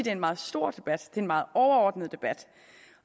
er en meget stor debat en meget overordnet debat